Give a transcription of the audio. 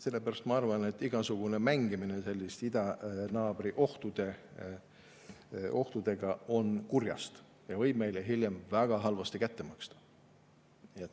Sellepärast ma arvan, et igasugune mängimine idanaabri ohtudega on kurjast ja võib meile hiljem väga halvasti kätte maksta.